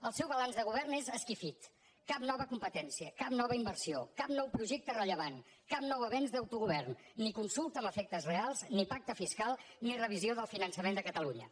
el seu balanç de govern és esquifit cap nova competència cap nova inversió cap nou projecte rellevant cap nou avenç d’autogovern ni consulta amb efectes reals ni pacte fiscal ni revisió del finançament de catalunya